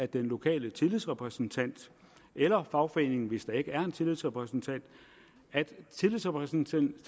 den lokale tillidsrepræsentant eller fagforening hvis der ikke er en tillidsrepræsentant tillidsrepræsentant